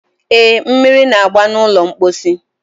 e, mmiri na-agba n'ụlọ mkposi.